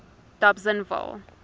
dobsenville